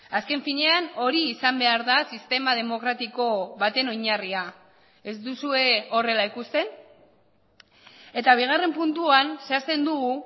azken finean hori izan behar da sistema demokratiko baten oinarria ez duzue horrela ikusten eta bigarren puntuan zehazten dugu